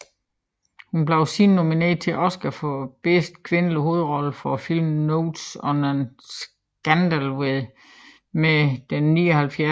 Hun blev siden nomineret til en Oscar for bedste kvindelige hovedrolle for filmen Notes on a Scandal ved den 79